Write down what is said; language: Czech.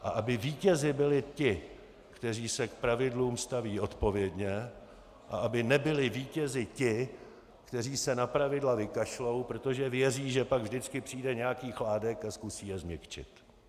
A aby vítězi byli ti, kteří se k pravidlům staví odpovědně, a aby nebyli vítězi ti, kteří se na pravidla vykašlou, protože věří, že pak vždycky přijde nějaký Chládek a zkusí je změkčit.